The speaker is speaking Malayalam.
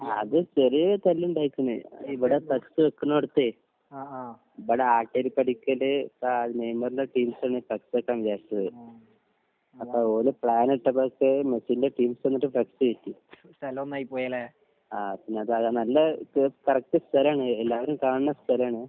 ആഹ് അത് ചെറിയ ഒരു തല്ല് ഇണ്ടായിട്ടുണ്ട്. അത് ഇവടെ ഫ്ളക്സ് വെക്ക്ണോടത്ത് ആഹ് ആഹ് ഇവിടെ ആട്ടടിപടിക്കല് നെയ്മറിന്റെ ടീംസ് ആണ് ഫ്ളക്സ് വെക്കണം ന്ന് വിചാരിച്ചത്. പക്ഷേ ഓല് പ്ലാൻ ഇട്ടപ്പളക്ക് മെസ്സിന്റെ ടീംസ് വന്നിട്ട് ഫ്ളക്സ് കയറ്റി ? ആഹ് പിന്നെ ആ സ്ഥലം നല്ല കറക്റ്റ് സ്ഥലം ആണ്. എല്ലാവരും കാണുന്ന സ്ഥലം ആണ്